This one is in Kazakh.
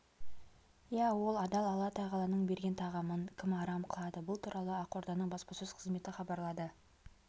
иә ол адал алла тағаланың берген тағамын кім арам қылады бұл туралы ақорданың баспасөз қызметі хабарлады